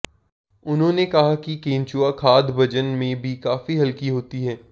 उन्होंने कहा कि केंचुआ खाद बजन में भी काफी हल्की होती है